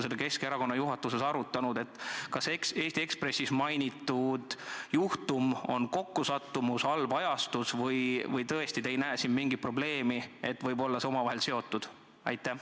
Olete te Keskerakonna juhatuses arutanud, kas Eesti Ekspressis mainitud juhtum on kokkusattumus, halb ajastus või te ei näe tõesti siin mingit probleemi, et need asjad võivad olla omavahel seotud?